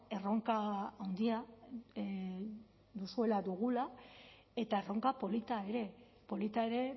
erronka handia duzuela dugula eta erronka polita ere polita ere